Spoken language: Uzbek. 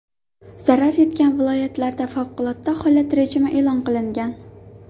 Zarar yetgan viloyatlarda favqulodda holat rejimi e’lon qilingan.